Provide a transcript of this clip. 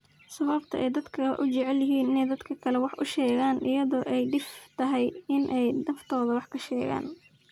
sababta ay dadku u jecel yihiin inay dadka kale wax u sheegaan iyadoo ay dhif tahay inay naftooda wax ka sheegaan